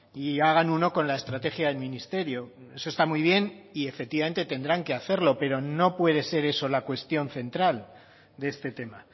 y hagan uno con la estrategia del ministerio eso está muy bien y efectivamente tendrán que hacerlo pero no puede ser eso la cuestión central de este tema